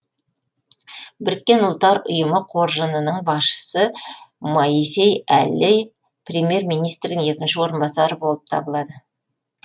біріккен ұлттар ұйымы қоржынының басшысы моисей әллей премьер министрдің екінші орынбасары болып табылады